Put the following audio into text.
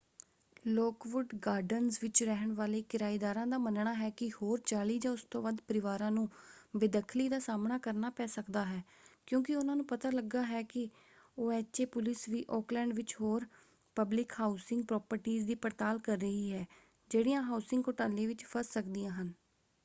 Lockwood Gardens ਵਿੱਚ ਰਹਿਣ ਵਾਲੇ ਕਿਰਾਏਦਾਰਾਂ ਦਾ ਮੰਨਣਾ ਹੈ ਕਿ ਹੋਰ 40 ਜਾਂ ਉਸ ਤੋਂ ਵੱਧ ਪਰਿਵਾਰਾਂ ਨੂੰ ਬੇਦਖਲੀ ਦਾ ਸਾਹਮਣਾ ਕਰਨਾ ਪੈ ਸਕਦਾ ਹੈ ਕਿਉਂਕਿ ਉਹਨਾਂ ਨੂੰ ਪਤਾ ਲੱਗਾ ਹੈ ਕਿ ਓਐਚਏ ਪੁਲਿਸ ਵੀ ਓਕਲੈਂਡ ਵਿੱਚ ਹੋਰ ਪਬਲਿਕ ਹਾਉਸਿੰਗ ਪ੍ਰੋਪਰਟੀਜ਼ ਦੀ ਪੜਤਾਲ ਕਰ ਰਹੀ ਹੈ ਜਿਹੜੀਆਂ ਹਾਉਸਿੰਗ ਘੋਟਾਲੇ ਵਿੱਚ ਫੱਸ ਸਕਦੀਆਂ ਹਨ।